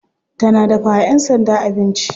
Tana dafawa yan sanda abinci.